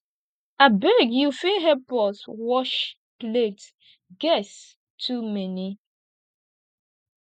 abeg you fit help us wash plate guests too many